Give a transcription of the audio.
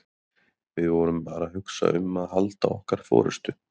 Við vorum bara að hugsa um að halda okkar forystu.